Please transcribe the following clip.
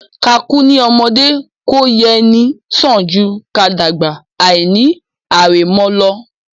Ká kú ní ọmọdé kó yẹ ni sàn jù ká dàgbà àìní àrẹ̀mọ lọ